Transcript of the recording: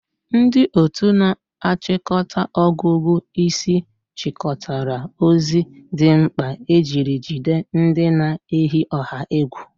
Ndị otu na-achịkọta ọgụgụ isi chịkọtara ozi dị mkpa ejiri jide ndị na-eyi ọha egwu.